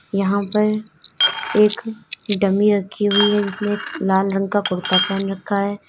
यहां पर एक डमी रखी हुई है जिसने लाल रंग का कुर्ता पहन रखा है।